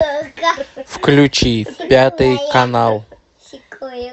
включи пятый канал